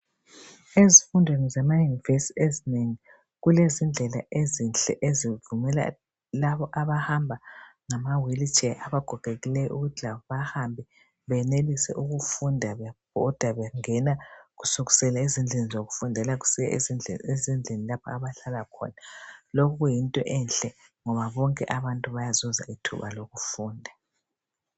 Ezifundweni zamayunivesi ezinengi. Kulezindlela ezinhle, ezivumela labo abahamba ngamawheelchair, abagogekileyo, ukuthi labo bahambe. Benelise ukufunda, bebhoda bengena. Kusukisela ezindlini zokufundela, kusiya ezindlini lapha abahlala khona. Lokhu kuyinto enhle, ngoba bonke abantu bayazuza ithuba lokufunda.